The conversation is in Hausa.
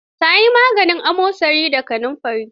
Ta yi maganin amosani da kanunfari.